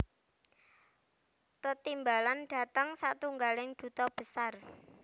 Tetimbalan dhateng satunggaling duta besar